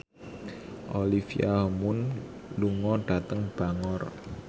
Olivia Munn lunga dhateng Bangor